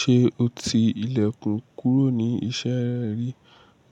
Ṣé o ti ilẹ̀kùn kúrò ní iṣẹ́ rẹ rí?